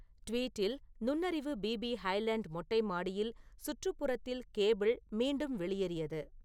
tweet இல் நுண்ணறிவு BP highland மொட்டை மாடியில் சுற்றுப்புறத்தில் கேபிள் மீண்டும் வெளியேறியது